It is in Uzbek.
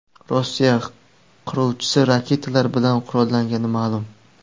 Rossiya qiruvchisi raketalar bilan qurollangani ma’lum.